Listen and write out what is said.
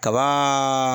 Kabaa